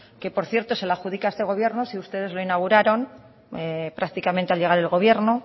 que por cierto se la adjudica este gobierno si ustedes lo inauguraron prácticamente al llegar al gobierno